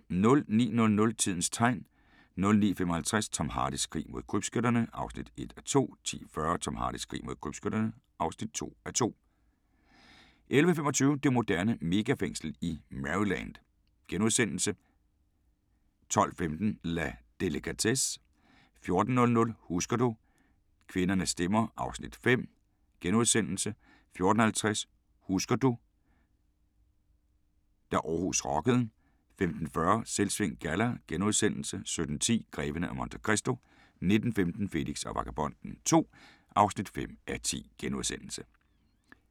09:00: Tidens Tegn 09:55: Tom Hardys krig mod krybskytterne (1:2) 10:40: Tom Hardys krig mod krybskytterne (2:2) 11:25: Det moderne megafængsel i Maryland * 12:15: La delicatesse 14:00: Husker du - kvindernes stemmer (Afs. 5)* 14:50: Husker du – da Aarhus rockede 15:40: Selvsving Galla * 17:10: Greven af Monte Cristo 19:15: Felix og Vagabonden II (5:10)*